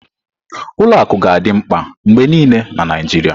Ụlọ akụ ga-adị mkpa mgbe niile na Naijiria.